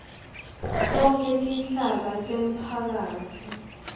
tonkhe tinhlaka temphakatsi